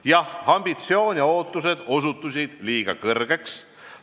Jah, ambitsioon ja ootused osutusid liiga suureks.